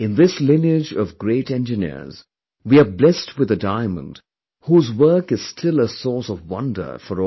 In this lineage of great engineers, we were blessed with a diamond whose work is still a source of wonder for all